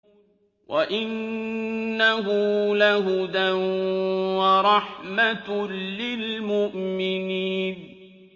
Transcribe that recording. وَإِنَّهُ لَهُدًى وَرَحْمَةٌ لِّلْمُؤْمِنِينَ